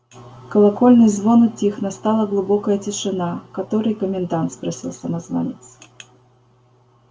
колокольный звон утих настала глубокая тишина который комендант спросил самозванец